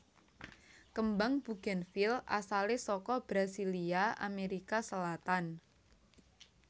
Kembang bugènvil asalé saka Brasilia Amerika Selatan